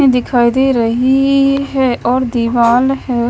मुझे दिखाई दे रही है और दिवाल है।